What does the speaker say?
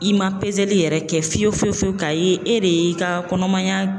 I ma pezeli yɛrɛ kɛ fiyewu fiyewu fiyewu k'a ye e de y'i ka kɔnɔmaya